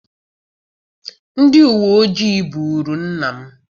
Ndị uweojii buuru nna m.